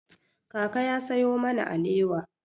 Kaka ya sayo mana alewa.